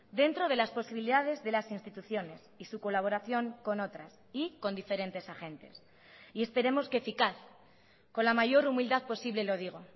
dentro de las posibilidades de las instituciones y su colaboración con otras y con diferentes agentes y esperemos que eficaz con la mayor humildad posible lo digo